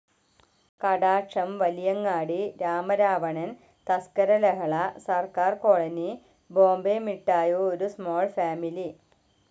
കടാക്ഷം, Valiyangadi, Ramaravanan, Thaskara Lahala, Sarkar colony, Bombay മിട്ടായോ ഒരു small family